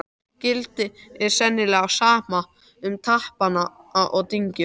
Gildir sennilega sama um stapana og dyngjurnar.